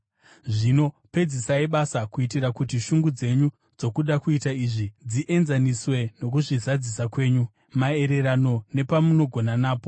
Zvino pedzisai basa, kuitira kuti shungu dzenyu dzokuda kuita izvi, dzienzaniswe nokuzvizadzisa kwenyu, maererano nepamunogona napo.